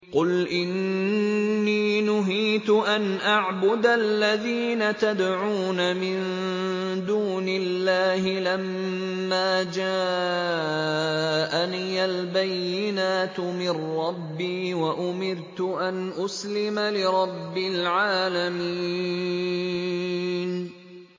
۞ قُلْ إِنِّي نُهِيتُ أَنْ أَعْبُدَ الَّذِينَ تَدْعُونَ مِن دُونِ اللَّهِ لَمَّا جَاءَنِيَ الْبَيِّنَاتُ مِن رَّبِّي وَأُمِرْتُ أَنْ أُسْلِمَ لِرَبِّ الْعَالَمِينَ